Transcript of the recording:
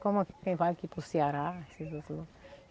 Como é que vai aqui para o Ceará?